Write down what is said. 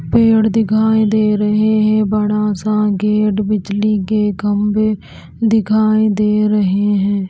पेड़ दिखाई दे रहे हैं बड़ा सा गेट बिजली के खंभे दिखाई दे रहे हैं।